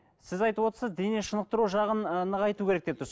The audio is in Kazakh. сіз айтывотсыз денешынықтыру жағын ы нығайту керек деп тұрсыз